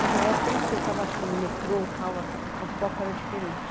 Mas na época, não sei, eu estava acho que no metrô tal o foco era diferente.